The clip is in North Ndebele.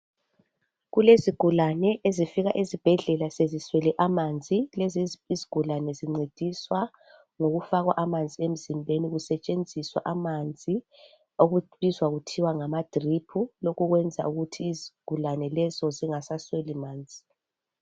kulezigulane ezifika esibhedlela zeziswele amanzi lezi izigulane zincediswa ngokufakwa amanzi emzimbeni kusetshenziswa amanzi okubitwa kuthiwa yi drip lokhu kwenza ukuthi izigulane lezo zingasasweli manzi